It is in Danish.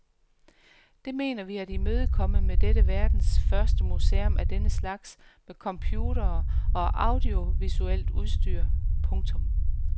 Det mener vi at imødekomme med dette verdens første museum af denne slags med computere og audiovisuelt udstyr. punktum